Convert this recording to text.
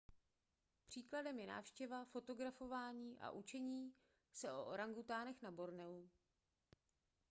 příkladem je návštěva fotografování a učení se o orangutanech na borneu